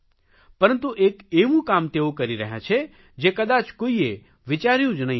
પરંતુ એક એવું કામ તેઓ કરી રહ્યાં છે જે કદાચ કોઇએ વિચાર્યુ જ નહીં હોય